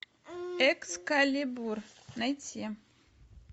экскалибур найти